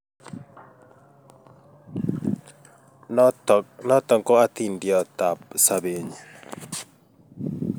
Notok ko atindiot ab sabeet nyiin